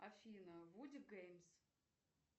афина вуди геймс